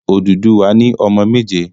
Odùduwà ni ọmọ méje.